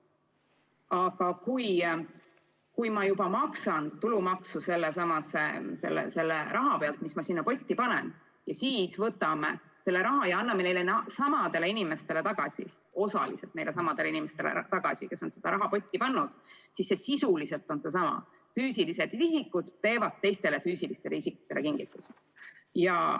Aga kui ma maksan tulumaksu selle raha pealt, mis ma sinna potti panen, ja siis võtame selle raha ja anname osaliselt tagasi neilesamadele inimestele, kes selle raha potti on pannud, siis see sisuliselt on seesama: füüsilised isikud teevad teistele füüsilistele isikutele kingituse.